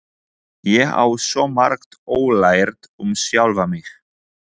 Ég á svo margt ólært um sjálfa mig.